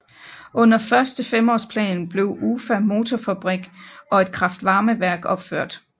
Under Første femårsplan blev Ufa Motorfabrik og et kraftvarmeværk blev opført